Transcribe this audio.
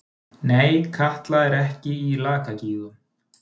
Nei, Katla er ekki í Lakagígum.